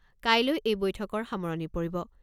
কাইলৈ এই বৈঠকৰ সামৰণি পৰিব।